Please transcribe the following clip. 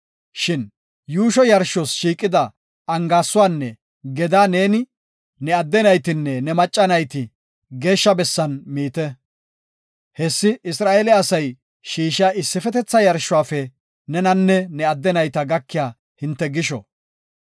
Shin yuusho yarshos shiiqida angaaysuwanne gedaa neeni, ne adde naytinne ne macca nayti geeshsha bessan miite. Hessi Isra7eele asay shiishiya issifetetha yarshuwafe nenanne ne adde nayta gakiya hinte gisho.